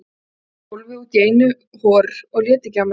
Ég settist á gólfið útí einu hor og lét ekki á mér kræla.